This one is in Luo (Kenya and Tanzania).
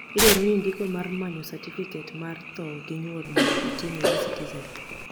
idwaro ni ndiko mar manyo satifiket may tho gi nyuol mondo otim e eCitizen